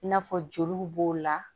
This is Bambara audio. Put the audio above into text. I n'a fɔ joliw b'o la